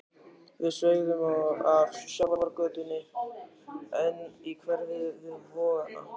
Við sveigðum af sjávargötunni inn í hverfið við Vogana.